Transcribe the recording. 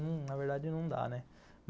Na verdade, não dá, né.